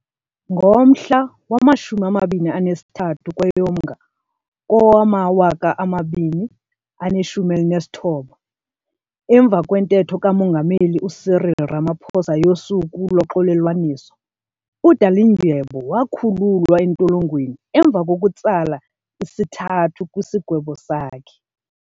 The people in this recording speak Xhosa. Ngomhla wama23 kweyoMnga kowama2019, emva kwentetho kamongameli uCyril Ramaphosa yoSuku loXolelwaniso, uDalindyebo wakhululwa entolongweni emva kokutsala isithathu kwisigwebo sakhe.